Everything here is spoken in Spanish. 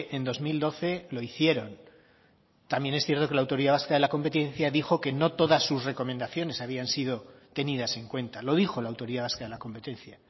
en dos mil doce lo hicieron también es cierto que la autoridad vasca de la competencia dijo que no todas sus recomendaciones habían sido tenidas en cuenta lo dijo la autoridad vasca de la competencia